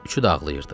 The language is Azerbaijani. Üçü də ağlayırdı.